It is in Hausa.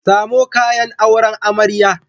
Samo kayan auren amarya.